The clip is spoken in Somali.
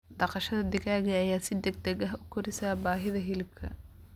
Dhaqashada digaaga ayaa si degdeg ah u koraysa baahida hilibka.